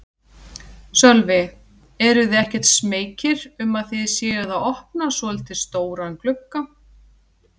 Sölvi: Eruð þið ekkert smeykir um að þið séuð að opna svolítið stóran glugga?